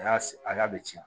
A y'a a y'a bɛ ci